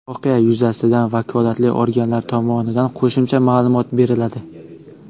Voqea yuzasidan vakolatli organlar tomonidan qo‘shimcha ma’lumot beriladi.